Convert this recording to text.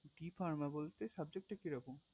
the farmer বলতে subject টা কেমন